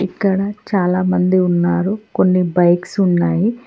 ఇక్కడ చాలా మంది ఉన్నారు కొన్ని బైక్స్ ఉన్నాయి.